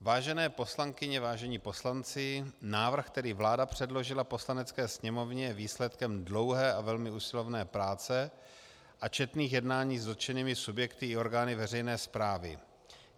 Vážené poslankyně, vážení poslanci, návrh, který vláda předložila Poslanecké sněmovně, je výsledkem dlouhé a velmi usilovné práce a četných jednání s dotčenými subjekty i orgány veřejné správy.